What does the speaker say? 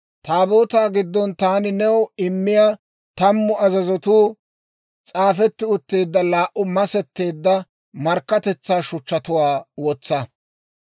Taabootaa giddon taani new immiyaa, tammu azazatuu s'aafetti utteedda laa"u masetteedda markkatetsaa shuchchatuwaa wotsa.